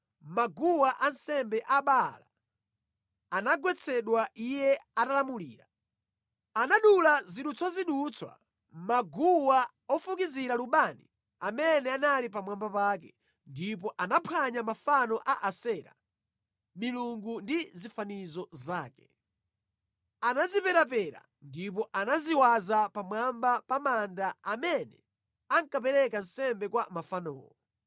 Maguwa ansembe a Baala anagwetsedwa iye atalamulira. Anadula zidutswazidutswa maguwa ofukizira lubani amene anali pamwamba pake, ndipo anaphwanya mafano a Asera, milungu ndi zifaniziro zake. Anaziperapera ndipo anaziwaza pamwamba pa manda a amene ankapereka nsembe kwa mafanowo.